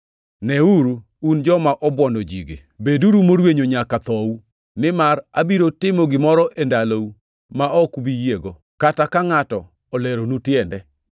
“ ‘Neuru, un joma obwono ji-gi, beduru morwenyo nyaka thou, nimar abiro timo gimoro e ndalou ma ok ubi yiego, kata ka ngʼato oleronu tiende.’ + 13:41 \+xt Hab 1:5\+xt*”